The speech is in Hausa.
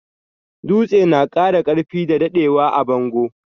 Dutse na kara karfi da daddewa a bango.